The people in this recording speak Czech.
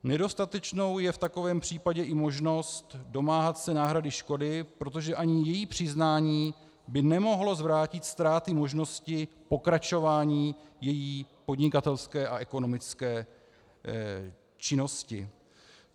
Nedostatečnou je v takovém případě i možnost domáhat se náhrady škody, protože ani její přiznání by nemohlo zvrátit ztrátu možnosti pokračování její podnikatelské a ekonomické činnosti.